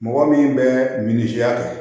Mɔgɔ min bɛ minisiya kɛ